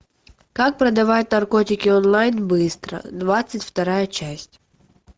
как продавать наркотики онлайн быстро двадцать вторая часть